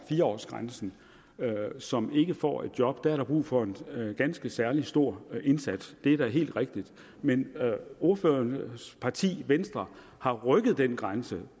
fire årsgrænsen og som ikke får et job er der brug for en ganske særlig stor indsats det er da helt rigtigt men ordførerens parti venstre har rykket den grænse